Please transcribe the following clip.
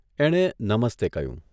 એણે 'નમસ્તે 'કહ્યું.